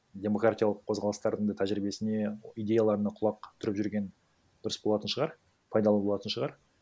демократиялық қозғалыстардың да тәжірибесіне идеяларына құлақ түріп жүрген дұрыс болатын шығар пайдалы болатын шығар